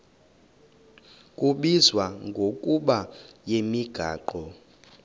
kubizwa ngokuba yimigaqo